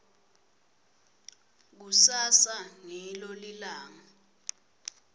kusasa ngilo lilanga